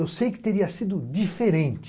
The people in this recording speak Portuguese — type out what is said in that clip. Eu sei que teria sido diferente.